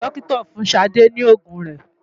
Dókítà fún Ṣadé ní òògùn rẹ̀.